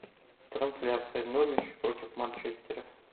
трансляция норвич против манчестера